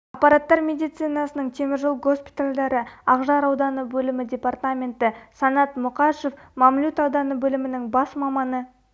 аппараттар медицинасының темір жол госпитальдары ақжар ауданы бөлімі департаменті санат мұқашев мамлют ауданы бөлімінің бас маманы